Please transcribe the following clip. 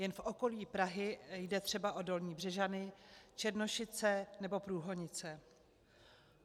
Jen v okolí Prahy jde třeba o Dolní Břežany, Černošice nebo Průhonice.